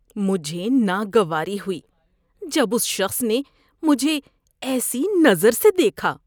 مجھے ناگواری ہوئی جب اس شخص نے مجھے ایسی نظر سے دیکھا۔